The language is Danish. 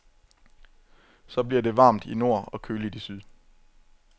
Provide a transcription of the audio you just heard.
Så bliver det varmt i nord og køligt i syd.